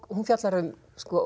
hún fjallar um